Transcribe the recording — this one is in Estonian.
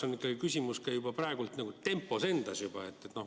Minu jaoks on küsimus praegu ka tempos.